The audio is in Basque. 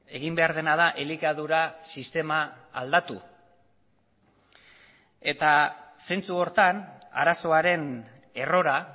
egin behar dena da elikadura sistema aldatu eta zentzu horretan arazoaren errora